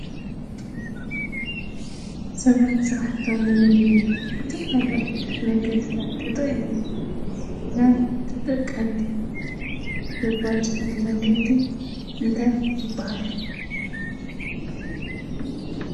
ሰባት ስራሕቶም ንምልላይ ዝተፈላለዩ ዓይነታት መንገዲታት ተጠቒሞም ንተጠቀምቲ ዘባፅሕሉ መንገዲ እንታይ ይበሃል?